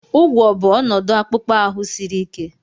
ụgwọ̀ bụ ọnọdụ akpụkpọ ahụ siri ike